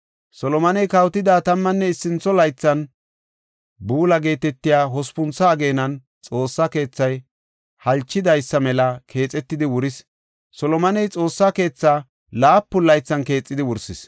Solomoney kawotida tammanne issintho laythan, Bula geetetiya hospuntho ageenan Xoossa keethay halchidaysa mela keexetidi wuris. Solomoney Xoossa keethaa laapun laythan keexidi wursis.